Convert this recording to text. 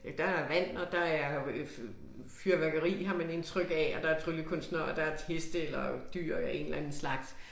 Øh der er vand og der er øh fyrværkeri har man indtryk af og der tryllekunstnere og der heste eller dyr af en eller anden slags